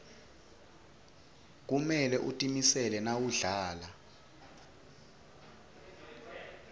kumele utimisele nawudlala